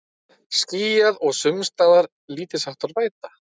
Skýjað og sums staðar lítilsháttar væta